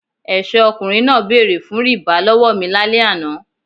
Ẹ̀ṣọ́ ọkùnrin náà bẹ̀rẹ̀ fún rìbá lọ́wọ́ mi lálẹ́ àná.